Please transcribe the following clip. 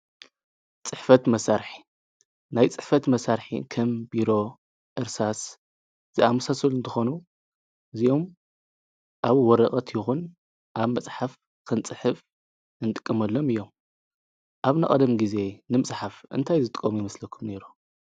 ጽሕፈት መሣርሕ ናይ ጽሕፈት መሣርሕ ከም ቢሮ፣ ዕርሳስ ዝኣምሳሶል እንተኾኑ እዝዮም ኣብ ወረቐት ይኹን ኣብ መጽሓፍ ኽንጽሕፍ እንጥቅመሎም እዮም። ኣብ ነቐደም ጊዜ ንምጽሓፍ እንታይ ዝጥቆሙ ይምስለኩም ነይ?